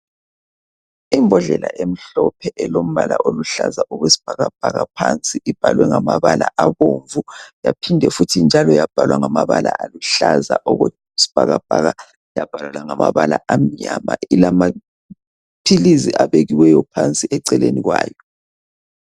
Imbodlela emhlophe elombala oluhlaza okwesibhakabhaka phansi ibhalwe ngamabala abomvu yaphinde futhi njalo yabhalwa ngamabala aluhlaza okwesibhakabhaka yabhalwa langamabala amnyama ilamaphilizi abekiweyo phansi eceleni kwayo.